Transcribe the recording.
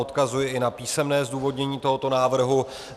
Odkazuji i na písemné zdůvodnění tohoto návrhu.